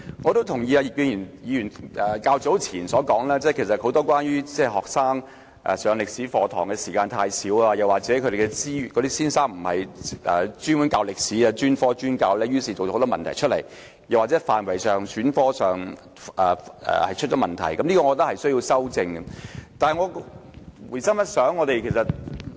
我同意葉建源議員較早前所說，中學教授中史科的時間太少，又或中史科教師並非專科專教，因而造成很多問題，又或是該科目的範圍和學生在選科上亦出現問題，這些問題均須予以糾正。